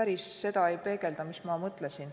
päris seda ei peegelda, mis ma mõtlesin.